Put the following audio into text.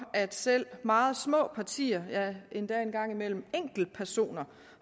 at selv meget små partier ja en gang imellem enkeltpersoner